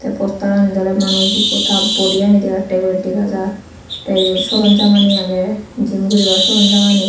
posteranid oley manus ikko ta bodi yani degattey guri dega jar tey iyot soronjamani agey gym guribar soronjamani.